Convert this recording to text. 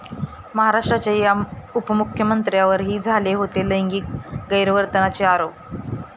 महाराष्ट्राच्या या उपमुख्यमंत्र्यांवरही झाले होते लैंगिक गैरवर्तनाचे आरोप